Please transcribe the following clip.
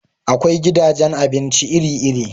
Akwai gidajen abinci iri-iri.